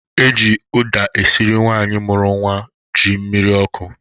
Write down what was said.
Eji ụda esịrị nwaanyi mụrụ nwa ji mmịrị ọkụ